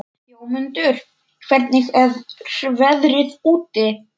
Jómundur, hvernig er veðrið úti?